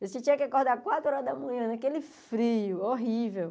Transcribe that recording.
Você tinha que acordar quatro horas da manhã, naquele frio horrível.